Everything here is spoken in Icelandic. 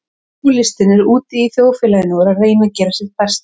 Alkohólistinn er úti í þjóðfélaginu og er að reyna að gera sitt besta.